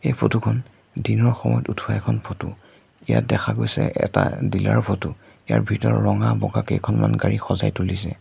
এই ফটো খন দিনৰ সময়ত উঠোৱা এখন ফটো ইয়াত দেখা গৈছে এটা ডিলাৰ ফটো ইয়াৰ ভিতৰত ৰঙা বগা কেইখনমান গাড়ী সজাই তুলিছে।